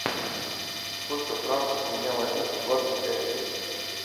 сколько франков с меня возьмут за двадцать пять песо